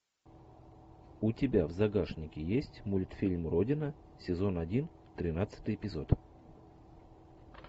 у тебя в загашнике есть мультфильм родина сезон один тринадцатый эпизод